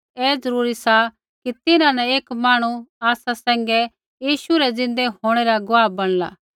ऐ ज़रूरी सा कि तिन्हां न एक मांहणु आसा सैंघै यीशु रै ज़िन्दै होंणै रा गुआह बणला